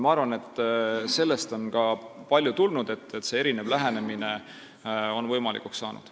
Ma arvan, et sellest on paljuski tekkinud see, et niisugune erinev lähenemine on võimalikuks saanud.